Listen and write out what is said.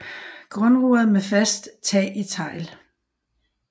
Grundmuret med fast tag i tegl